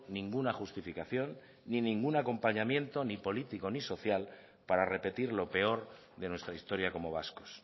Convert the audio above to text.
ninguna justificación ni ningún acompañamiento ni político ni social para repetir lo peor de nuestra historia como vascos